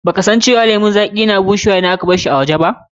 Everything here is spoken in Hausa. Ba ka san cewa lemun zaƙi na fara bushewa lokacin da aka barshi a waje?